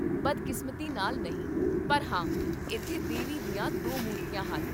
ਬਦਕਿਸਮਤੀ ਨਾਲ, ਨਹੀਂ, ਪਰ ਹਾਂ, ਇੱਥੇ ਦੇਵੀ ਦੀਆਂ ਦੋ ਮੂਰਤੀਆਂ ਹਨ